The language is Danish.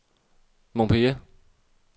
Montpellier